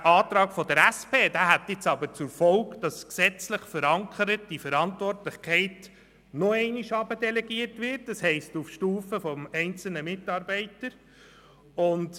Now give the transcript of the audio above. Der Antrag der SPJUSO-PSA-Fraktion hätte zur Folge, dass die gesetzlich verankerte Verantwortlichkeit noch weiter nach unten auf die Stufe des einzelnen Mitarbeiters delegiert würde.